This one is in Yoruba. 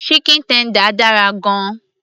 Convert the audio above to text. chicken tender dára gan -an